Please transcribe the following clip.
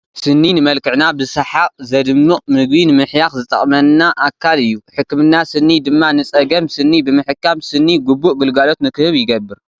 ስኒ ንመልክዕና ብሰሓቕ ዘድምቕ፣ ምግቢ ንምሕያኽ ዝጠቅምና ኣካል እዩ፡፡ ሕክምና ስኒ ድማ ንፀገም ስኒ ብምሕካም ስኒ ግቡእ ግልጋሎት ንክህብ ይገብር፡፡